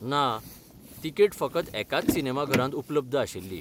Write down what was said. ना, तिकेट फकत एकाच सिनेमाघरांत उपलब्ध आशिल्ली.